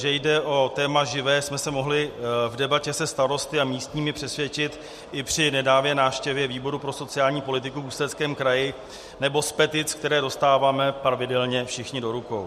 Že jde o téma živé, jsme se mohli v debatě se starosty a místními přesvědčit i při nedávné návštěvě výboru pro sociální politiku v Ústeckém kraji, nebo z petic, které dostáváme pravidelně všichni do rukou.